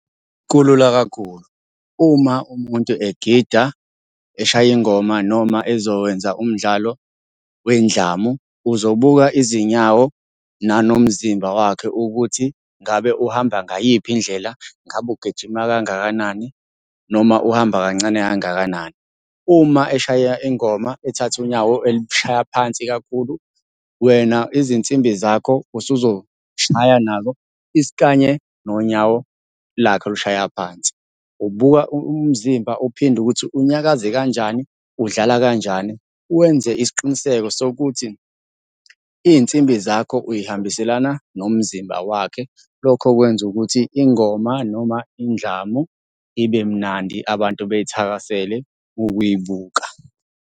Kulula kakhulu, uma umuntu egida, eshaya ingoma noma ezowenza umdlalo wendlamu, uzobuka izinyawo nanomzimba wakhe ukuthi ngabe uhamba ngayiphi indlela, ngabe ugijima kangakanani noma uhamba kancane kangakanani. Uma eshaya ingoma ethatha unyawo elushaya phansi kakhulu, wena izinsimbi zakho usuzoy'shaywa nalo isikanye nonyawo lakhe olushaya phansi. Ubuka umzimba uphinde ukuthi unyakaze kanjani, udlala kanjan. Wenze isiqiniseko sokuthi iy'nsimbi zakho uy'hambiselana nomzimba wakhe. Lokho kwenza ukuthi ingoma noma indlamu ibe mnandi abantu beyithakasele ukuyibuka.